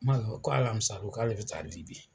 ko alamisa don k'ale be taa Libi.